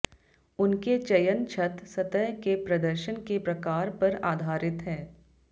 उनके चयन छत सतह के प्रदर्शन के प्रकार पर आधारित है